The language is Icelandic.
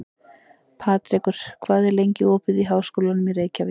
Patrekur, hvað er lengi opið í Háskólanum í Reykjavík?